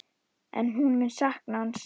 En hún mun sakna hans.